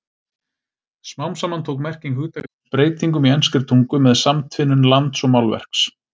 Smám saman tók merking hugtaksins breytingum í enskri tungu með samtvinnun lands og málverks.